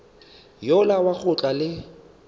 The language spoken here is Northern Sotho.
yola wa go tla le